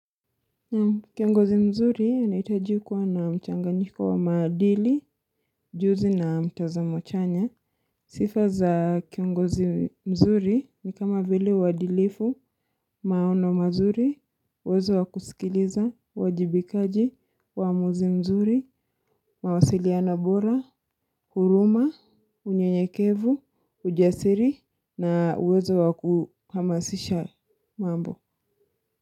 Kiongozi mzuri anahitaji kuwa na mchanganyiko wa maadili, ujuzi na mtazamo chanya. Sifa za kiongozi mzuri ni kama vile uadilifu, maono mazuri, uwezo wa kusikiliza, uwajibikaji, uamuzi mzuri, mawasiliano bora, huruma, unyenyekevu, ujasiri na uwezo wa kuhamasisha mambo.